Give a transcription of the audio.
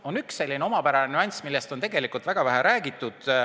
On üks selline omapärane nüanss, millest on tegelikult väga vähe räägitud.